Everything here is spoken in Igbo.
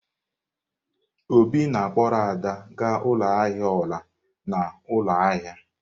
Obi na-akpọrọ Ada gaa ụlọ ahịa ọla n'ụlọ ahịa.